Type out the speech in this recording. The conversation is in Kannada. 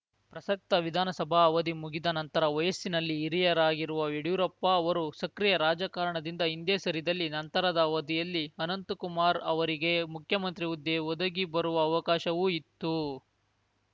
ಪ್ರಸಕ್ತ ವಿಧಾನಸಭಾ ಅವಧಿ ಮುಗಿದ ನಂತರ ವಯಸ್ಸಿನಲ್ಲಿ ಹಿರಿಯರಾಗಿರುವ ಯಡಿಯೂರಪ್ಪ ಅವರು ಸಕ್ರಿಯ ರಾಜಕಾರಣದಿಂದ ಹಿಂದೆ ಸರಿದಲ್ಲಿ ನಂತರದ ಅವಧಿಯಲ್ಲಿ ಅನಂತಕುಮಾರ್‌ ಅವರಿಗೇ ಮುಖ್ಯಮಂತ್ರಿ ಹುದ್ದೆ ಒದಗಿಬರುವ ಅವಕಾಶವೂ ಇತ್ತು